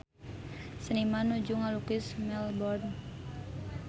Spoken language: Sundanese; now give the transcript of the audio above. Seniman nuju ngalukis Melbourne